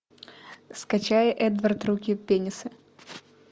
скачай эдвард руки пенисы